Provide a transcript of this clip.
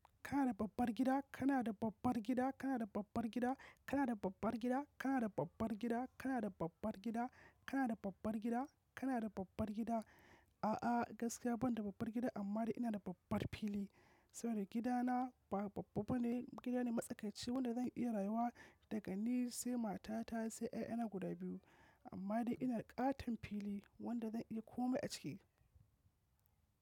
Kana da babbar gida? Kana da babbar gida? Kana da babbar gida? Kana da babbar gida? Kana da babbar gida? Kana da babbar gida? Kana da babbar gida? Kana da babbar gida? A'a, gaskiya ban da babbar gida amma dai ina da babbar fili saboda gidana ba babba bane. Gidana matsakaici wanda zan iya rayuwa daga ni sai matata sai 'ya'yana guda biyu. Amma dai ina da ƙaton fili wanda zan iya komai a ciki.